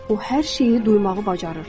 O hər şeyi duymağı bacarır.